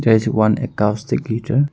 there is one acoustic feature.